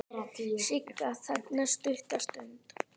Sigga þagnar stutta stund.